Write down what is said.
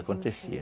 Acontecia.